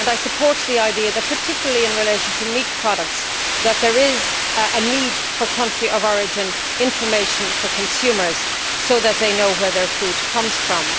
I support the idea that, particularly in relation to meat products, there is a need for country of origin information for consumers so that they know where their food comes from.